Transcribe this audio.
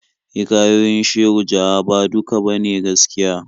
Hikayoyin Shehu Jaha ba duka ba ne gaskiya.